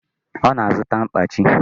Ọ na-azụta mkpachi